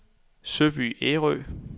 Søby Ærø